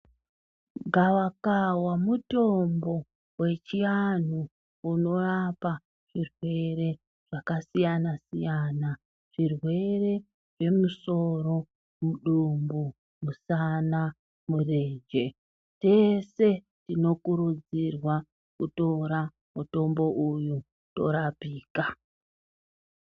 Gavakava mutombo wechianhu unorapa zvirwere zvakasiyanasiyana zvirwere zve musoro, mudumbu, musana, murenje , tese tinokurudzirwa kutora mutombo uyu torapika.